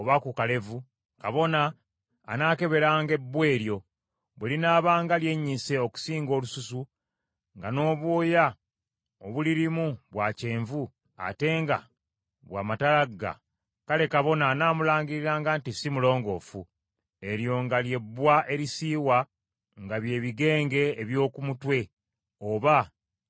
kabona anaakeberanga ebbwa eryo, bwe linaabanga lyennyise okusinga olususu, nga n’obwoya obulirimu bwa kyenvu ate nga bwa matalaga; kale kabona anaamulangiriranga nti si mulongoofu; eryo nga lye bbwa erisiiwa, nga bye bigenge eby’oku mutwe oba eby’oku kalevu.